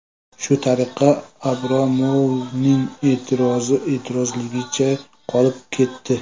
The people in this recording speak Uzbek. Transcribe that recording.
Shu tariqa Abramovning e’tirozi e’tirozligicha qolib ketdi.